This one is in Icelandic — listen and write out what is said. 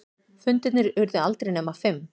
Fundirnir urðu aldrei nema fimm.